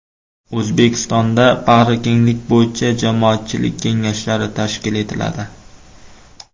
O‘zbekistonda bag‘rikenglik bo‘yicha jamoatchilik kengashlari tashkil etiladi.